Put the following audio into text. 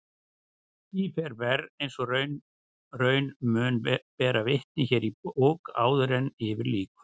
Því fer verr eins og raun mun bera vitni hér í bók áður yfir lýkur.